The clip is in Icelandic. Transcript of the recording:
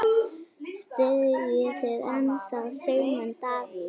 Styðjið þið ennþá Sigmund Davíð?